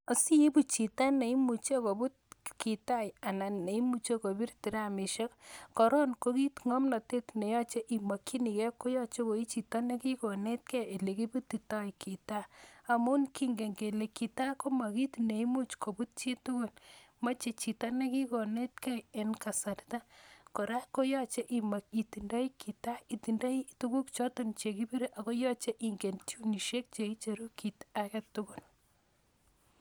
Asiigu chito neimuch koput kitaa anan ne imuch kopir tiramisiek, koron ngomnatet ne yache imakyinige ko yache koichito nekigonetke olegibutito kitaa amun kingen kele kitaa komakit neimuch koput chitugul. Mache chito ne kigonetke en kasarta. Kora ko yoche imuch itindai kitaa, itindoi tuguk choton che kipire koyache ingen tunusiek che icheru kit agetugul.